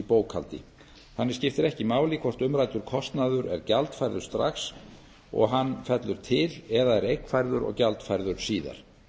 bókhaldi þannig skiptir ekki máli hvort umræddur kostnaður er gjaldfærður strax og hann fellur til eða er eignfærður og gjaldfærður síðar